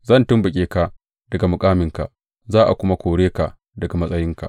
Zan tumɓuke ka daga makaminka, za a kuma kore ka daga matsayinka.